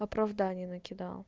в оправдание накидал